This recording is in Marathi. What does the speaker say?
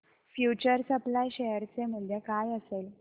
फ्यूचर सप्लाय शेअर चे मूल्य काय असेल